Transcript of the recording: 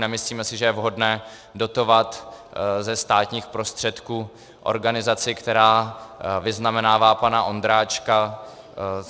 Nemyslíme si, že je vhodné dotovat ze státních prostředků organizaci, která vyznamenává pana Ondráčka.